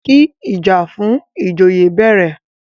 kí ìjà fún ìjòyè bẹ̀rẹ̀!